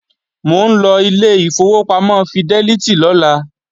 Mò ń lọ ilé ìfowópamọ́ fidẹ́lítì lọ́la